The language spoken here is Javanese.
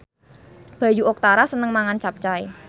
Bayu Octara seneng mangan capcay